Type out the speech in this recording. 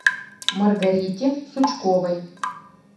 маргарите сучковой